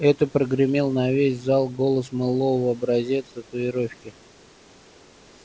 это прогремел на весь зал голос мэллоу образец татуировки